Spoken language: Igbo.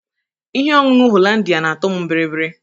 Ihe ọñụñụ hollandịa na-atọ m biribiri.